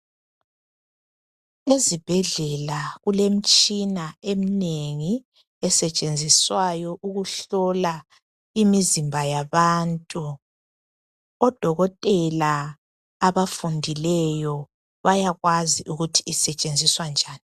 Ezibhedlela kulemitshina eminengi esetshenziswayo ukuhlola imizimba yabantu. ODokotela abafundileyo bayakwazi ukuthi isetshenziswa njani.